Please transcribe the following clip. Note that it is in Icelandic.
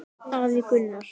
Afi Gunnar.